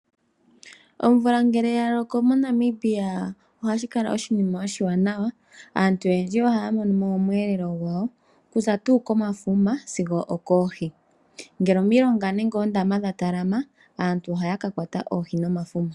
Omvula ngele ya loko moNamibia ohashi kala oshinima oshiwanawa. Aantu oyendji ohaa mono mo omweelelo gwawo, ku za tuu komafuma sigo okoohi. Ngele omilonga noondama dha talama, aantu ohaaka kwata oohi nomafuma.